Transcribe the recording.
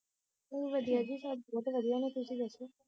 ਵਧੀਆ ਜੀ ਸਬ ਬਹੁਤ ਵਧੀਆ ਨੇ ਤੁਸੀ ਦੱਸੋ